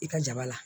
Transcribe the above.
I ka jaba la